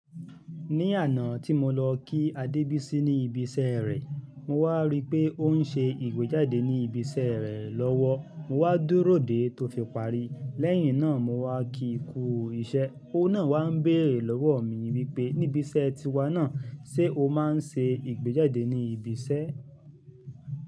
Ní àná tí mo lọ kí Adebisi ní ibi iṣẹ́ rẹ̀, mo wá rí pé ó ń ṣe ìgbéjáde ní ibi iṣẹ́ rẹ̀ lọ́wọ́. Mo wá dúró dè tó fi parí. Lẹ́yìn náà, mo wá kí kú iṣẹ́. Ó náà wá ń bèrè lọ́wọ́ mi wípé, "níbí iṣẹ́ ẹ ti wa náà, ṣe o máa ń ṣe ìgbéjáde ní ibi iṣẹ́?"